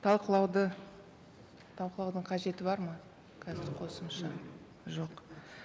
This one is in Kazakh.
талқылауды талқылаудың қажеті бар ма қазір қосымша жоқ